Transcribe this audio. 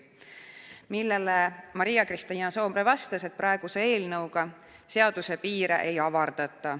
Selle peale Maria-Kristiina Soomre vastas, et praeguse eelnõuga seaduse piire ei avardata.